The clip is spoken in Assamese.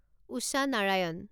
উষা নাৰায়ণ